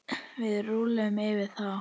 Við rúllum yfir þá!